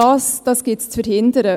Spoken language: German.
Dies gilt es zu verhindern.